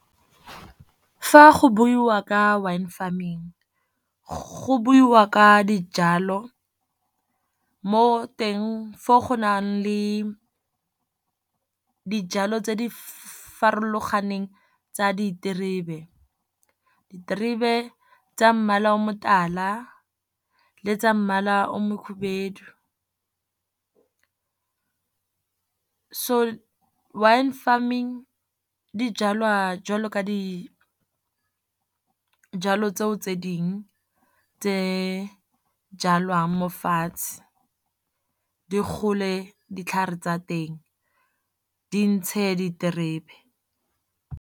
Fa go buiwa ka wine farming go buiwa ka dijalo mo teng foo go nang le dijalo tse di farologaneng tsa diterebe. Diterebe tsa mmala o motala le tsa mmala o mokgubedu. So wine farming di jalwa jwalo ka di jalo, tseo tse dingwe tse jalwang mo fatshe, di gole ditlhare tsa teng di ntshe diterebe.